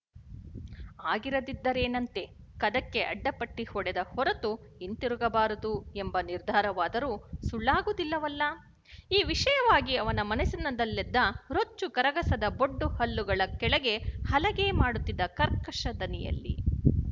ಆಗಿರದಿದ್ದರೇನಂತೆ ಕದಕ್ಕೆ ಅಡ್ಡಪಟ್ಟಿ ಹೊಡೆದ ಹೊರತು ಹಿಂತಿರುಗಬಾರದು ಎಂಬ ನಿರ್ಧಾರವಾದರೂ ಸುಳ್ಳಾಗುವುದಿಲ್ಲವಲ್ಲ ಈ ವಿಷಯವಾಗಿ ಅವನ ಮನಸ್ಸಿನಲ್ಲೆದ್ದ ರೊಚ್ಚು ಕರಗಸದ ಬೊಡ್ಡು ಹಲ್ಲುಗಳ ಕೆಳಗೆ ಹಲಗೆ ಮಾಡುತ್ತಿದ್ದ ಕರ್ಕಶ ದನಿಯಲ್ಲಿ